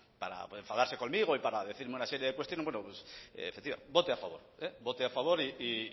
enfadarse conmigo y para decirme una serie de cuestiones bueno pues vote a favor vote a favor